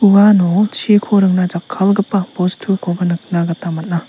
uano chiko ringna jakkalgipa bostukoba nikna gita man·a.